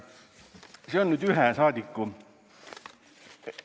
See oli ühe rahvasaadiku kohta.